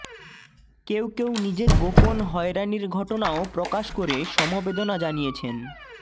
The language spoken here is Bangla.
কেউ কেউ নিজের গোপন হয়রানির ঘটনাও প্রকাশ করে সমবেদনা জানিয়েছেন